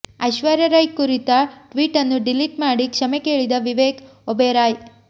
ಐಶ್ವರ್ಯಾ ರೈ ಕುರಿತ ಟ್ವೀಟ್ ನ್ನು ಡಿಲೀಟ್ ಮಾಡಿ ಕ್ಷಮೆ ಕೇಳಿದ ವಿವೇಕ್ ಒಬೆರಾಯ್